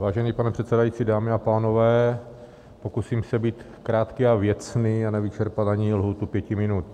Vážený pane předsedající, dámy a pánové, pokusím se být krátký a věcný a nevyčerpat ani lhůtu pěti minut.